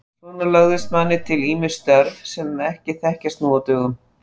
Svona lögðust manni til ýmis störf sem ekki þekkjast nú á dögum.